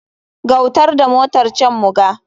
Gautar da motar can muga.